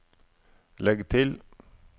legg til